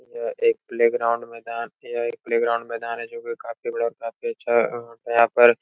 यह एक प्लेग्राउंड मैदान यह एक प्लेग्राउंड मैदान है जोकि काफी बड़ा और काफी अच्छा अं यहाँ पर --